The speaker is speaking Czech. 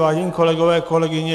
Vážení kolegové, kolegyně.